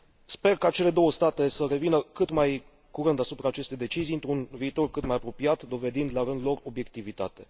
Sper ca cele două state să revină cât mai curând asupra acestei decizii într un viitor cât mai apropiat, dovedind la rândul lor obiectivitate.